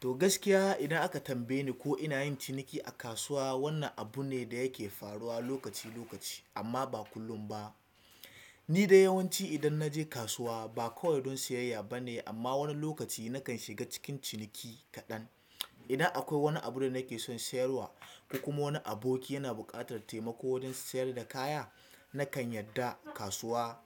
Toh gaskiya idan aka tambaye ni ko ina yin ciniki a kasuwa, wannan abu ne da yake faruwa lokaci-lokaci amma ba kullum ba. Ni dai yawanci idan na je kasuwa ba kawai don siyayya ba ne amma wani lokaci nakan shiga cikin ciniki kaɗan. Idan akwai wani abu da nake son siyarwa ko kuma wani aboki yana buƙatar taimako don sayar da kaya, nakan yarda. Kasuwa,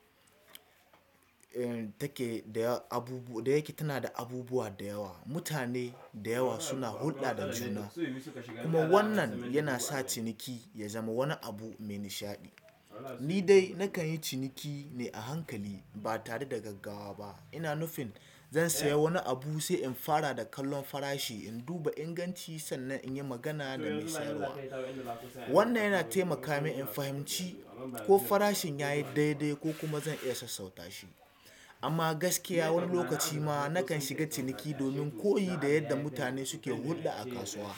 yanda take da abu da yake tana da abubuwa da yawa, mutane da yawa suna hulɗa da juna kuma wannan yana sa ciniki ya zama wani abu mai nishaɗi. Ni dai nakan yi ciniki ne a hankali ba tareda gaggawa ba. Ina nufin zan saya wani abu sai in fara da kallon farashi, in duba inganci sannan in yi magana da mai siyarwa. Wannan yana taimaka min in fahimci ko farashin yayi dai-dai ko kuma zan iya sassauta shi. Amma gaskiya wani lokaci ma nakan shiga ciniki domin koyi da yadda mutane suke hulɗa a kasuwa.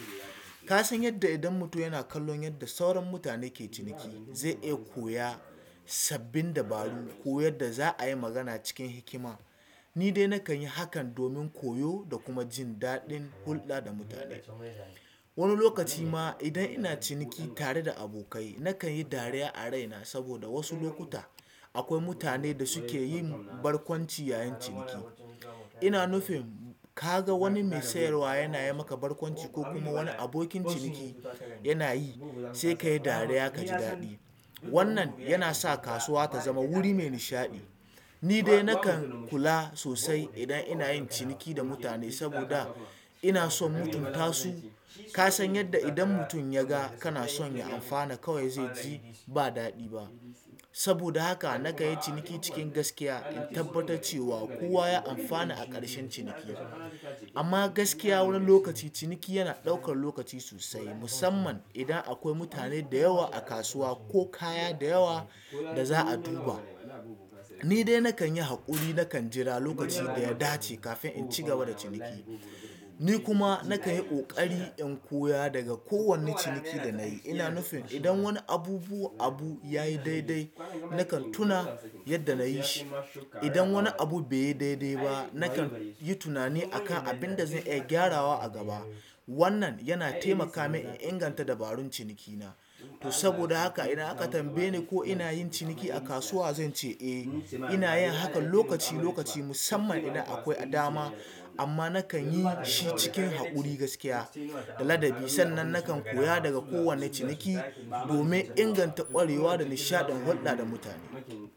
Ka san yadda idan mutum yana kallon yadda sauran mutane ke ciniki, zai iya koya sabbin dabaru ko yadda za a yi magana cikin hikima. Ni dai nakan yi hakan domin koyo da kuma jin daɗin hulɗa da mutane. Wani lokaci ma idan ina ciniki tareda abokai nakan yi dariya a raina saboda wasu lokuta akwai mutane da suke yin barkwanci yayin ciniki. Ina nufin kaga wani me sayarwa yana yi mana barkwanci ko wani abikin siyarwa se kayi dariya kaji daɗi. Wannan yana sa kasuwa ta zama wuri mai nishaɗi. Ni dai nakan kula sosai idan ina yin ciniki da mutane saboda ina son mutunta su. Ka san yadda idan mutum yaga kana son ya amfana kawai zai ji ba daɗi ba. Saboda haka nakan yi ciniki cikin gaskiya in tabbatar cewa kowa ya amfana a ƙarshen ciniki. Amma gaskiya wani lokaci ciniki yana ɗaukar lokaci sosai musamman idan akwai mutane da yawa a kasuwa ko kaya da yawa da za a duba. Ni dai nakan yi haƙuri, nakan jira lokaci da ya dace kafin in cigaba da ciniki. Ni kuma nakan yi ƙoƙari in koya daga kowane ciniki da nayi. Ina nufin idan wani abubu abu yayi dai-dai nakan tuna yadda nayi shi. Idan wani abu bai yi dai-dai ba, nakan yi tunani akan abinda zan iya gyarawa a gaba. Wannan yana taimaka min in inganta dabarun cinikina. Toh, saboda haka idan aka tambaye ni ko ina yin ciniki a kasuwa zan ce eh ina yin hakan lokaci-lokaci musamman idan akwai adama, amma nakan yi shi cikin haƙuri gaskiya da ladabi sannan nakan koya daga kowane ciniki domin inganta ƙwarewa da nishaɗin hulɗa da mutane.